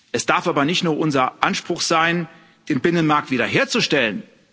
Es darf aber nicht nur unser Anspruch sein, den Binnenmarkt wiederherzustellen.